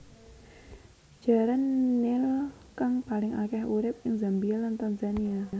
Jaran nil kang paling akèh urip ing Zambia lan Tanzania